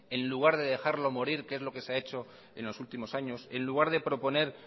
en lugar de dejarlo morir que es lo que se ha hecho en los últimos años en lugar de proponer